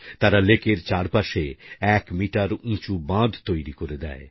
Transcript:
তারা লেকের চারপাশে এক মিটার উঁচু বাঁধ তৈরি করে দেয়